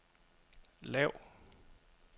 lav